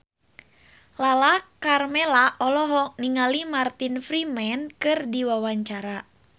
Lala Karmela olohok ningali Martin Freeman keur diwawancara